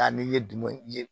Taa ni ye dumɛn ye